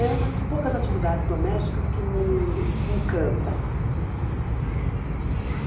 É uma das poucas atividades domésticas que me encanta.